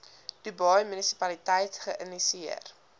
dubai munisipaliteit geïnisieer